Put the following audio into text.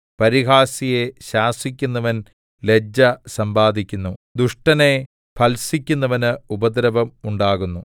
പരിഹാസിയെ ശാസിക്കുന്നവൻ ലജ്ജ സമ്പാദിക്കുന്നു ദുഷ്ടനെ ഭർത്സിക്കുന്നവന് ഉപദ്രവം ഉണ്ടാകുന്നു